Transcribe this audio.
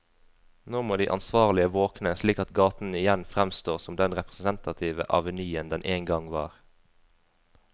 Nå må de ansvarlige våkne slik at gaten igjen fremstår som den representative avenyen den en gang var.